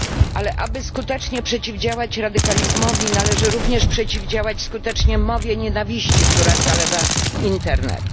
Ale aby skutecznie przeciwdziałać radykalizmowi należy również przeciwdziałać skutecznie mowie nienawiści, która zalewa internet.